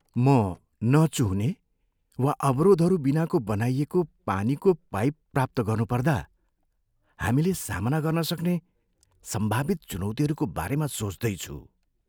म नचुहुने वा अवरोधहरू बिनाको बनाइएको पानीको पाइप प्राप्त गर्नुपर्दा हामीले सामना गर्न सक्ने सम्भावित चुनौतिहरूको बारेमा सोच्दै छु।